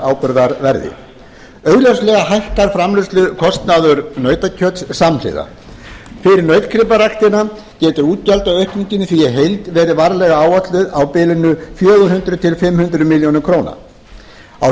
áburðarverði augljóslega hækkar framleiðslukostnaður nautakjöts samhliða fyrir nautgriparæktina getur útgjaldaaukningin í því í heild verið varlega áætluð á bilinu fjögur hundruð til fimm hundruð milljóna króna á